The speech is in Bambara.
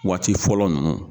Waati fɔlɔ ninnu